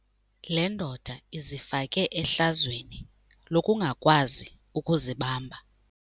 Le ndoda izifake ehlazweni lokungakwazi ukuzibamba.